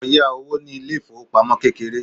lọ yá owó ní ilé ifowópamọ́ kékeré